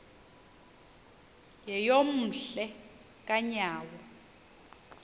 yeyom hle kanyawo